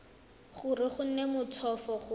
gore go nne motlhofo go